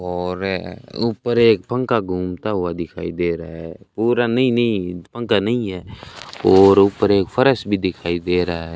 और ऊपर एक पंखा घूमता हुआ दिखाई दे रहा है पूरा नई नई पंखा नहीं है और ऊपर एक फर्श भी दिखाई दे रहा है।